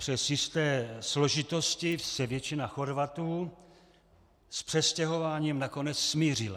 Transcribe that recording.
Přes jisté složitosti se většina Chorvatů s přestěhováním nakonec smířila.